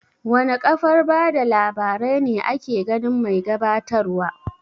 Wana kafar bada labarai ne ake ganin mai gabatar wa?